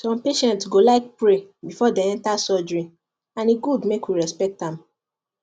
some patients go like pray before dem enter surgery and e good make we respect am